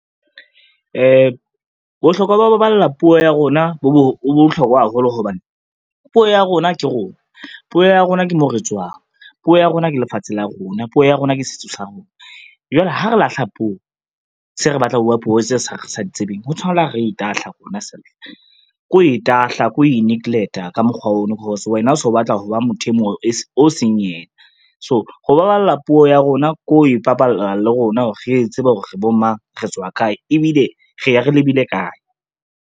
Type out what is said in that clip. Bohlokwa ba ho baballa puo ya rona bo bohlokwa haholo hobane puo ya rona ke rona, puo ya rona ke moo re tswang, puo ya rona ke lefatshe la rona, puo ya rona ke setso sa rona. Jwale ha re lahla puo se re batlang ho bua puo tseo sa re sa di tsebeng ho tshwana la re itahla rona self, ko ho itahla, ko ho i-neglect-a ka mokgwa ono cause wena o so batla ho ba motho e mong o seng ena. So, ho baballa puo ya rona ko e baballa le rona hore re tsebe hore re bo mang, re tswa kae, ebile re ya re lebile kae.